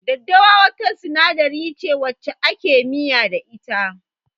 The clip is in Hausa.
Daddawa wata sinadari ce wacce ake miya da ita.